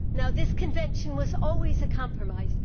This convention was always a compromise